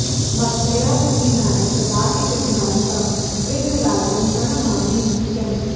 भक्त्या विहीनाय ददाति विघ्नान् तं विघ्नराजं प्रणमामि नित्यम्